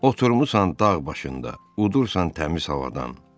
Oturmusa dağ başında, udursa təmiz havadan.